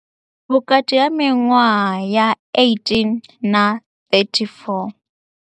Vhukati ha miṅwaha ya 18 na 34.